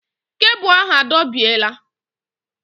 Kebụl ahụ adọbiela